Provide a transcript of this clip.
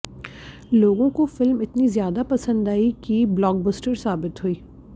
लोगों को फिल्म इतनी ज्यादा पसंद आई कि ब्लॉबस्टर साबित हुई